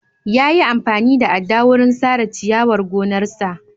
Yayi amfani da adda wurin sare ciyarwar gonarsa.